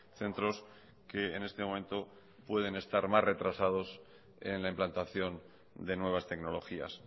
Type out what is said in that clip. centros que en este momento pueden estar más retrasados en la implantación de nuevas tecnologías